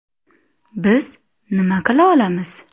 Biz nima qila olamiz?